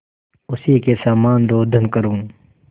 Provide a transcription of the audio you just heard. उसी के समान रोदन करूँ